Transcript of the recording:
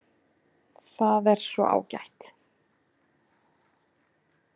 Það er svo ágætt.